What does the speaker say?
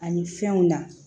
Ani fɛnw na